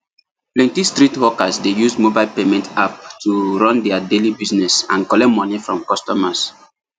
plenty street hawkers dey use mobile payment app to run their daily business and collect money from customers